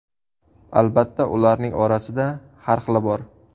Albatta, ularning orasida har xili bor.